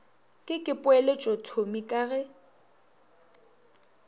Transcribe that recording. ke ke poeletšothomi ka ge